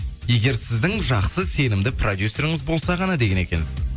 егер сіздің жақсы сенімді продюсеріңіз болса ғана деген екенсіз